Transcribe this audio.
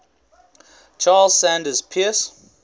charles sanders peirce